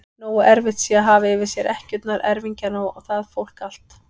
Nógu erfitt sé að hafa yfir sér ekkjurnar, erfingjana og það fólk allt!